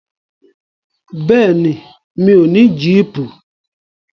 Bẹ́ẹ̀ni, mi ò ní jíìpù.